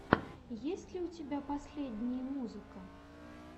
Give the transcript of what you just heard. есть ли у тебя последние музыка